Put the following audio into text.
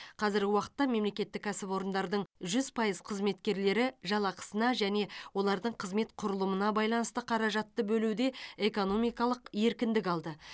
қазіргі уақытта мемлекеттік кәсіпорындардың жүз пайыз қызметкерлері жалақысына және олардың қызмет құрылымына байланысты қаражатты бөлуде экономикалық еркіндік алды